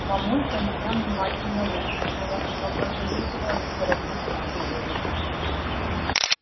мамулька меня внимательно выслушала но посоветовала не торопиться с выводами